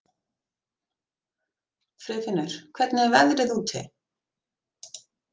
Friðfinnur, hvernig er veðrið úti?